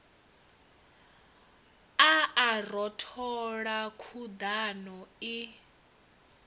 a a rothola khuḓano i